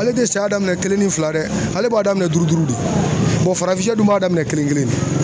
Ale tɛ saya daminɛ kelen ni fila dɛ, ale b'a daminɛ duuru duuru de farafin shɛ dun b'a daminɛ kelen kelen de.